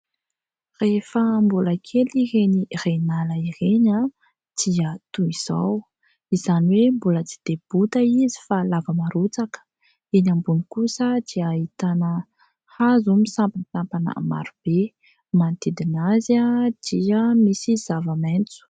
Rehefa mbola kely ireny Renala ireny dia toy izao. Izany hoe mbola tsy de bota izy fa lava marotsaka. Eny ambony kosa dia ahitana hazo sampan-tsampana maro be. Manodidina azy dia misy zava-maitso.